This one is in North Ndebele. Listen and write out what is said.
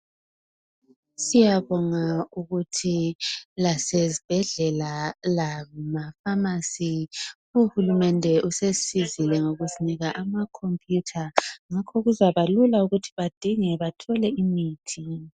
Siyabonga ukuthi lasezibhedlela lamafamasi uhulumende usesisizile ngokusinika amakhomputha ngakho kuzabalula ukuthi badinge bathole imithi